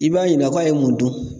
I b'a ɲininka k'a ye mun dun?